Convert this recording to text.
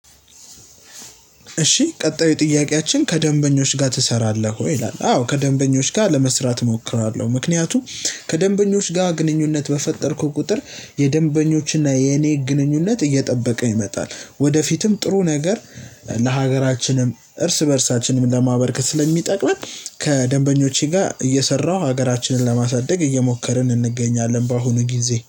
እሺ ቀጣዩ ጥያቄያችን ከደንበኞች ጋር ትሰራለህ ወይ ይላል? አዎ ከደንበኞች ጋር ለመስራት እሞክራለሁ። ምክንያቱም ከደንበኞች ጋር ግንኙነት በፈጠርኩት ቁጥር የደንበኞችና የኔ ግንኙነት እየጠበቀ ይመጣል። ወደፊትም ጥሩ ነገር ለሀገራችንም እርስ በእርሳችንም ለማበርክት ስለሚጠቅመን። ከደንበኞቼ ጋር እየሰራሁ ሀገራችንን ለማሳደግ እየሞከርን እንገኛለን በአሁኑ ጊዜ